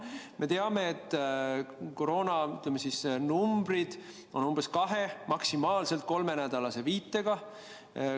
Me teame, et koroonanumbrid on umbes kahe-, maksimaalselt kolmenädalase viitega.